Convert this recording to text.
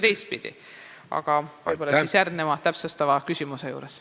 Sellest räägime võib-olla järgneva täpsustava küsimuse juures.